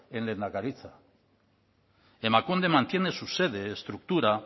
en lehendakaritza emakunde mantiene su sede estructura